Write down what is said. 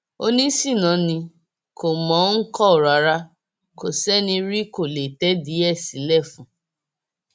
oníṣínà ni kò mọ ọn kọ rárá kó ṣeni rí kó lè tẹdìí ẹ sílẹ fún